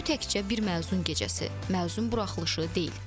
Bu təkcə bir məzun gecəsi, məzun buraxılışı deyil.